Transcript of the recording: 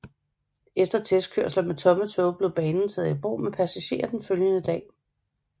Efter testkørsler med tomme tog blev banen taget i brug med passagerer den følgende dag